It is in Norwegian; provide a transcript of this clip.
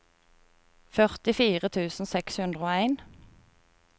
førtifire tusen seks hundre og en